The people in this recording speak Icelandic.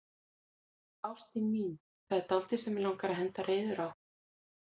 Ástin mín, það er dálítið sem mig langar að henda reiður á.